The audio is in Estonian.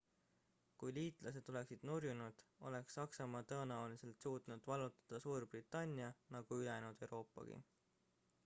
kui liitlased oleksid nurjunud oleks saksamaa tõenäoliselt suutnud vallutada suurbritannia nagu ülejäänud euroopagi